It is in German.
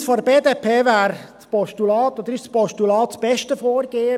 Für uns von der BDP wäre oder ist ein Postulat das beste Vorgehen.